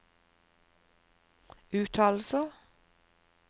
uttalelser